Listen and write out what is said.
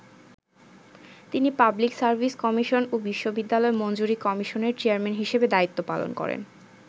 তিনি public service commission ও বিশ্ববিদ্যালয় মঞ্জুরি কমিশনের চেয়ারম্যান হিসেবে দায়িত্ব পালন করেন।